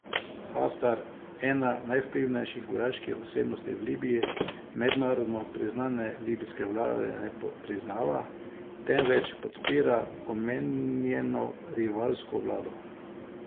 Haftar, ena najvplivnejših vojaških osebnosti v Libiji, mednarodno priznane libijske vlade ne priznava, temveč podpira omenjeno rivalsko vlado.